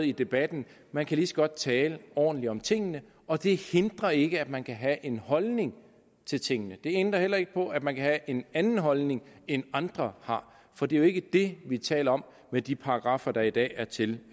i debatten man kan lige så godt tale ordentligt om tingene og det hindrer ikke at man kan have en holdning til tingene det ændrer heller ikke på at man kan have en anden holdning end andre har for det er jo ikke det vi taler om med de paragraffer der i dag er til